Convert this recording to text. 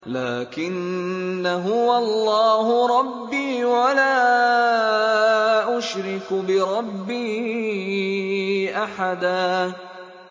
لَّٰكِنَّا هُوَ اللَّهُ رَبِّي وَلَا أُشْرِكُ بِرَبِّي أَحَدًا